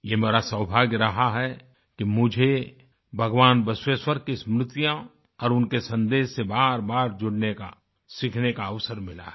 ये मेरा सौभाग्य रहा है कि मुझे भगवान बसवेश्वर की स्मृतियाँ और उनके सन्देश से बारबार जुड़ने का सीखने का अवसर मिला है